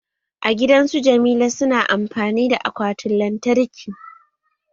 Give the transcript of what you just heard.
A gidan su Jamila su na amfani da akwatin lantarki